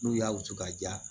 N'u y'a wusu ka ja